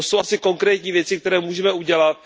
To jsou asi konkrétní věci, které můžeme udělat.